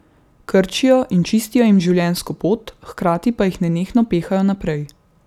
Krčijo in čistijo jim življenjsko pot, hkrati pa jih nenehno pehajo naprej.